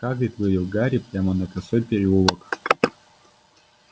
хагрид вывел гарри прямо на косой переулок